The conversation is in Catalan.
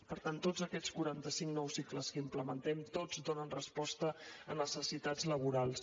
per tant tots aquests quaranta cinc nou cicles que implementem tots donen resposta a necessitats laborals